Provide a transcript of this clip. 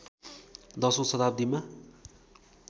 १० औँ शताब्दीमा